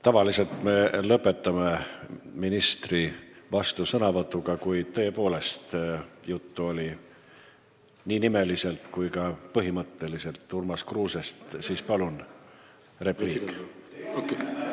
Tavaliselt me lõpetame ministri vastusõnavõtuga, kuid kuna nii nimeliselt kui ka põhimõtteliselt oli juttu Urmas Kruusest, siis palun repliik!